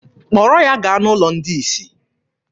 Kpọrọ ya gaa n'ụlọ ndị isi!